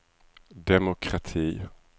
demokrati